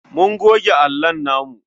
Mun goge allon namu.